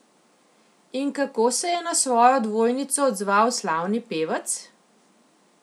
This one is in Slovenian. In kako se je na svojo dvojnico odzval slavni pevec?